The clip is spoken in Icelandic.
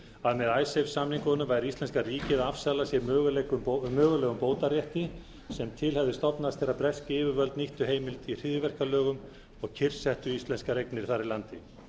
að með icesave samningunum væri íslenska ríkið að afsala sér mögulegum bótarétti sem til hefði stofnast þegar bresk yfirvöld nýttu heimildir í hryðjuverkalögum og kyrrsettu íslenskar eignir þar í landi